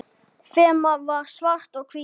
Þemað er svart og hvítt.